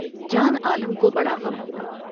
جان عالمہ کو بڑاغم ہوا ۔